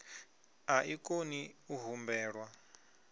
a i koni u humbelwa